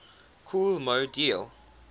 kool moe dee